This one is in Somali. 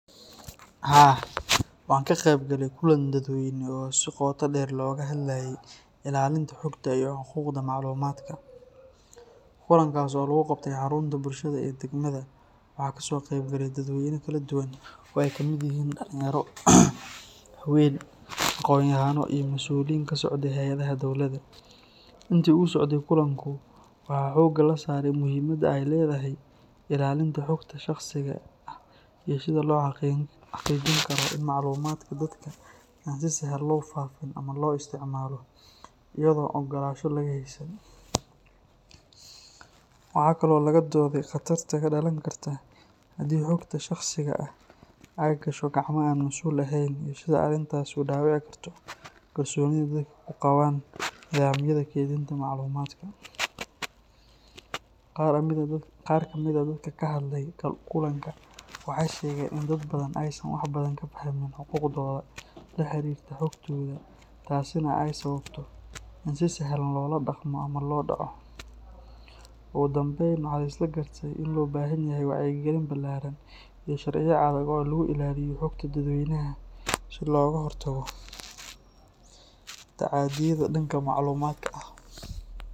Haa. wanka qeb gale kulan dad weyne o si qoto dheer looga hadlaye illalinta xogta iyo xuquuqda macluumadka, kulankaas oo lugu qabte harunta bulshada ee deegmada waxa kaso qeb gale daaweyna kala duban oo ay kamid yihiin dhalin yaro, haweeyn, aqonyahanin iyo mas'uliyo kasocdo qeybaha diwladaa, intu uu socde kullanku waxa xooga lasaare muhiimada ay ledahay illalinta xogta shaqsiga ah iyo sida loo xaqiijini karo ini macluumadka si sahlan loo faafin ama loo isticmaalo iyago ogolansha laga haysanin, waxakale oo laga doode Qatarta kadhalan karta hadii xogta shaqsiga ah ay gasho gacmaha an mas'ul aheyn taaso dhaabici karto kalsoonida dadka kuqaaban nidamyada keydinta macluumadka, qaar kamid dadka kahadle kullankan waxay sheegen in dad badan aysan wax badan kafahmiin xuquuqdood dahabihaga iyo xogtooda taasi na ay sababto in si sahlan loola dhaqmo ama loo dhaco, ogu dambeyn waxa lisla garte ini loo bahan yahay wacyi gelin bilaaran iyo sharciyo adag oo lugu illaliyo xogta dad weynaha si looga hortago taacadiyada dhanka macluumadka ah